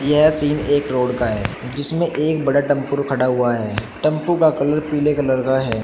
यह सीन एक रोड का है जिसमें एक बड़ा टेंपू खड़ा हुआ है टेंपू का कलर पीले कलर का है।